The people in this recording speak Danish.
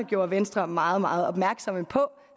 gjorde venstre meget meget opmærksom på